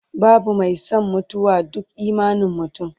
babu Mai San mutuwa, duk imanin mutum